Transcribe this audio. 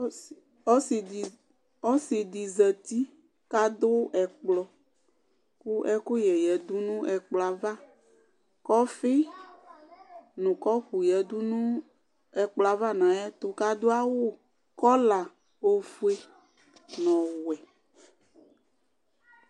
Ɔsidi zati kʋ adʋ ɛkplɔ kʋ ɛkʋyɛ yadʋ nʋ ɛkplɔ yɛ ava kʋ ɔfi nʋ kɔpʋ yadʋnʋ ɛkplɔ yɛ ava nʋ ayʋ ɛtʋ kʋ adʋ awʋ kɔla ofue nʋ ɔwɛ